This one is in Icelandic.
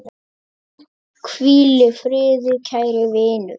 Hvíl í friði kæri vinur.